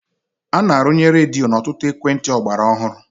A na-arụnye redio n'ọtụtụ ekwentị ọgbara ọhụrụ.